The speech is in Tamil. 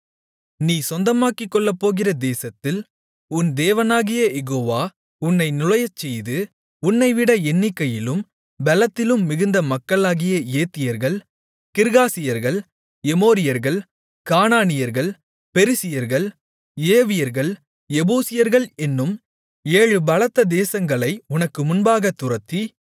நீ சொந்தமாக்கிக்கொள்ளப்போகிற தேசத்தில் உன் தேவனாகிய யெகோவா உன்னை நுழையச்செய்து உன்னைவிட எண்ணிக்கையிலும் பெலத்திலும் மிகுந்த மக்களாகிய ஏத்தியர்கள் கிர்காசியர்கள் எமோரியர்கள் கானானியர்கள் பெரிசியர்கள் ஏவியர்கள் எபூசியர்கள் என்னும் ஏழு பலத்த தேசங்களை உனக்கு முன்பாகத் துரத்தி